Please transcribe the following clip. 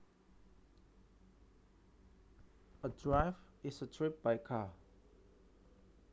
A drive is a trip by car